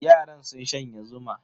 Yaran sun shanye zuma.